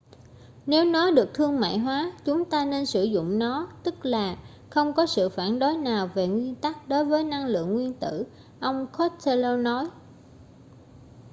nếu nó được thương mại hóa chúng ta nên sử dụng nó tức là không có sự phản đối nào về nguyên tắc đối với năng lượng nguyên tử ông costello nói